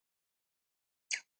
Láta á þetta reyna.